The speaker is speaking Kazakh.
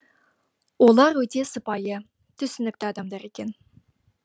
олар өте сыпайы түсінікті адамдар екен